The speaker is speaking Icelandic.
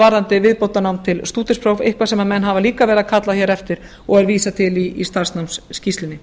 varðandi viðbótarnám til stúdentsprófs eitthvað sem menn hafa líka verið að kalla hér eftir og er vísað til í starfsnámsskýrslunni